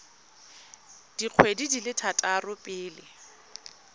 dikgwedi di le tharo pele